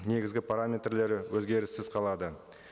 негізгі параметрлері өзгеріссіз қалады